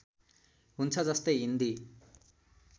हुन्छ जस्तै हिन्दी